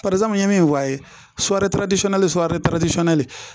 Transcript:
ye min wɔɔrɔ ye